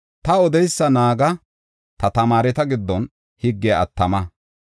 Ta odeysa naaga; ta tamaareta giddon higgiya attama.